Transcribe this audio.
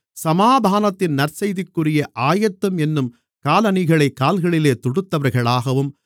சமாதானத்தின் நற்செய்திக்குரிய ஆயத்தம் என்னும் காலணிகளைக் கால்களிலே தொடுத்தவர்களாகவும்